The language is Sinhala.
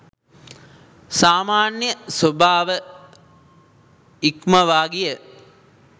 සාමාන්‍ය ස්වභාව ඉක්මවා ගිය